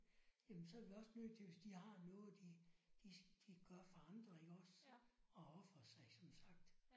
Jamen så er vi også nødt til hvis de har noget de de de gør for andre iggås og ofre sig som sagt